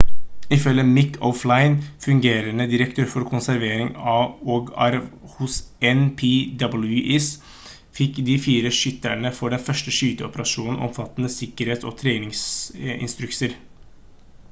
ifølge mick o'flynn fungerende direktør for konservering og arv hos npws fikk de fire skytterne for den første skyteoperasjonen omfattende sikkerhets- og treningsinstrukser